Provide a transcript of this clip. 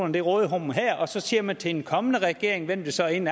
i det råderum her og så siger man til en kommende regering hvem det så end